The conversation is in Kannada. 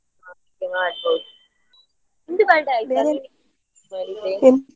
ನಿಂದು birthday ಆಯ್ತ.